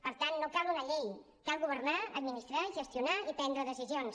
per tant no cal una llei cal governar administrar gestionar i prendre decisions